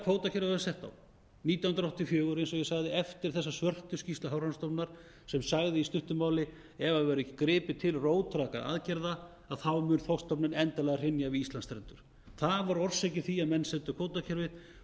sett á nítján hundruð áttatíu og fjögur eins og ég sagði eftir þessa svörtu skýrslu hafrannsóknastofnunar sem sagði í stuttu máli ef það verður ekki gripið til róttækra aðgerða mun þorskstofninn endanlega hrynja við íslandsstrendur þar var orsök í því að menn settu kvótakerfið